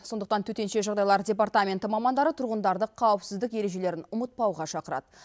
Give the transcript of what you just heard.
сондықтан төтенше жағдайлар департаменті мамандары тұрғындарды қауіпсіздік ережелерін ұмытпауға шақырады